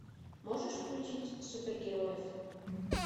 можешь включить супергероев